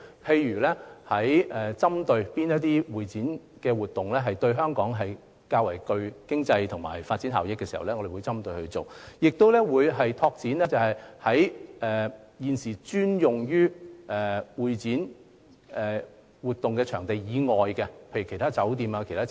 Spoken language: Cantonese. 例如，我們會針對性地發展對香港較具經濟及發展效益的會展活動，亦會拓展現有專用會展場地以外的設施，例如酒店或其他設施。